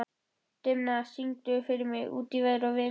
Dimma, syngdu fyrir mig „Út í veður og vind“.